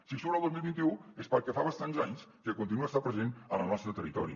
si surt el dos mil vint u és perquè fa bastants anys que continua estant present en el nostre territori